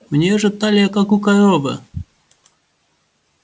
у неё же талия как у коровы